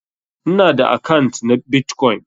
Ina da akant na Bitcoin.